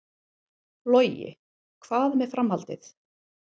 Logi: Hvað með framhaldið?